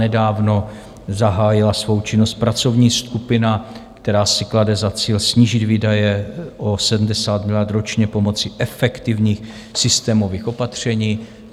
Nedávno zahájila svou činnost pracovní skupina, která si klade za cíl snížit výdaje o 70 miliard ročně pomocí efektivních systémových opatření.